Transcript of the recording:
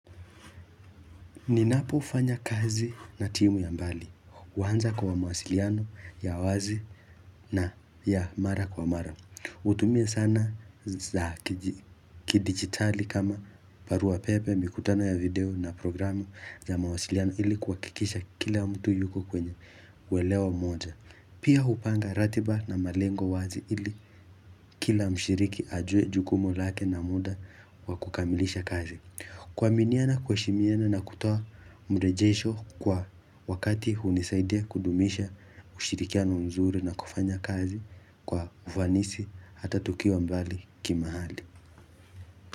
Ninapo fanya kazi na timu ya mbali, huanza kwa mawasiliano ya wazi na ya mara kwa mara. Hutumie sana za kidigitali kama barua pepe, mikutano ya video na programu za mawasiliano ili kuhakikisha kila mtu yuko kwenye uwelewa mmoja. Pia hupanga ratiba na malengo wazi ili kila mshiriki ajue jukumu lake na muda wa kukamilisha kazi. Kuaminiana, kuheshimiana na kutoa mrejesho kwa wakati hunisaidia kudumisha ushirikiano mzuri na kufanya kazi kwa uvanisi hata tukiwa mbali kimahali.